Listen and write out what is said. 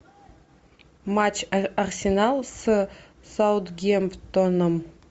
матч арсенал с саутгемптоном